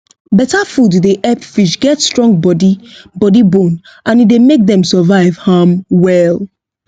better food dey help fish get strong body body bone and e dey make dem survive um well